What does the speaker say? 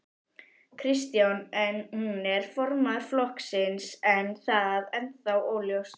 Kristján: En hún er formaður flokksins, er það ennþá óljóst?